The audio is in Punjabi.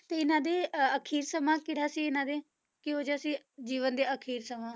ਤੇ ਇਹਨਾਂ ਦੇ ਅਹ ਅਖ਼ੀਰ ਸਮਾਂ ਕਿਹੜਾ ਸੀ ਇਹਨਾਂ ਦੇ ਕਿਹੋ ਜਿਹਾ ਸੀ ਜੀਵਨ ਦਾ ਅਖ਼ੀਰ ਸਮਾਂ?